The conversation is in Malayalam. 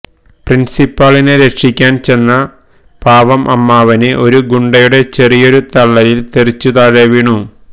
പ്രിന്സിപ്പാളിനെ രക്ഷിക്കാന് ചെന്ന പാവം അമ്മാവന് ഒരു ഗുണ്ടയുടെ ചെറിയൊരു തള്ളലില് തെറിച്ചു താഴെ വീഴുന്നു